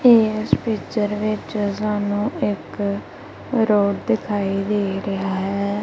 ਏਸ ਪਿਕਚਰ ਵਿੱਚ ਸਾਨੂੰ ਇੱਕ ਰੋਡ ਦਿਖਾਈ ਦੇ ਰਿਹਾ ਹੈ।